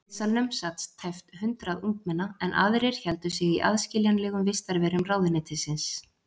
Í biðsalnum sat tæpt hundrað ungmenna, en aðrir héldu sig í aðskiljanlegum vistarverum ráðuneytisins.